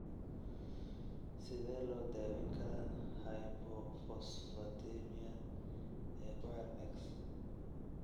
Sidee loo daaweyn karaa hypophosphatemia ee ku xiran X?